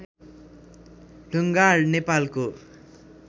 ढुङ्गाड नेपालको